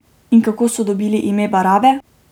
In kako so dobili ime Barabe?